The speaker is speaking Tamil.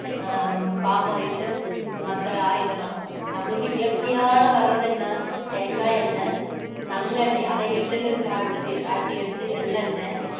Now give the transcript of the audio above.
ஹம் palm oil மத்த oil எல்லாம் நம்மளுக்கு இயற்கையால வர்றது என்ன தேங்காய் எண்ணெய், நல்லெண்ணெய் அது எள்ளுல இருந்து ஆட்~ ஆட்டி எடுத்து எள்ளு எண்ணை